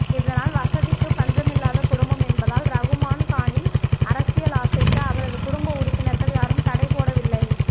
இதனால் வசதிக்கு பஞ்சமில்லாத குடும்பம் என்பதால் ரகுமான் கானின் அரசியல் ஆசைக்கு அவரது குடும்ப உறுப்பினர்கள் யாரும் தடை போடவில்லை